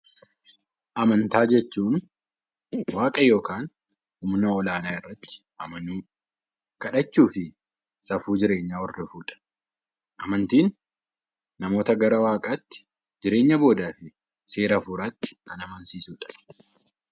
Amantaa jechuun waaqa yookaan humna ol-aanaa irratti amanuu, kadhachuu fi safuu jireenyaa hordofuudha. Amantiin namoota gara waaqaatti jireenya boodaa fi seera hafuuraatti Kan amansiisuudha.